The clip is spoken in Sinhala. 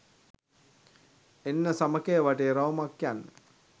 එන්න සමකය වටේ රවුමක් යන්න